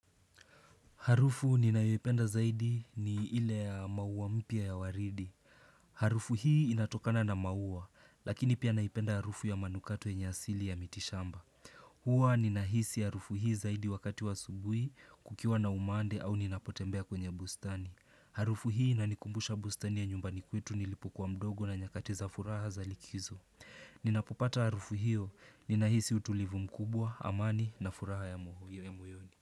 Harufu ninayoipenda zaidi ni ile ya maua mpya ya waridi. Harufu hii inatokana na maua, lakini pia naipenda harufu ya manukato yenye asili ya mitishamba. Huwa ninahisi harufu hii zaidi wakati wa asubuhi, kukiwa na umande au ninapotembea kwenye bustani. Harufu hii inanikumbusha bustani ya nyumbani kwetu nilipokuwa mdogo na nyakati za furaha za likizo. Ninapopata harufu hiyo, ninahisi utulivu mkubwa, amani na furaha ya moyoni.